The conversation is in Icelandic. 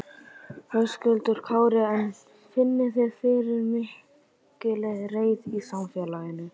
Höskuldur Kári: En finnið þið fyrir mikilli reiði í samfélaginu?